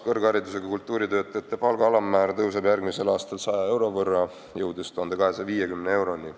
Kõrgharidusega kultuuritöötajate palga alammäär tõuseb järgmisel aastal 100 euro võrra, jõudes 1250 euroni.